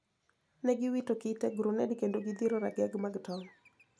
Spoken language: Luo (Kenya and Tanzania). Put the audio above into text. Ne giwito kite, gruned kendo gidhiro rageng` mag tong`